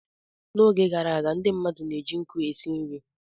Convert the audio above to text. N'oge gara aga, ndị mmadụ na-eji nkụ esi nri.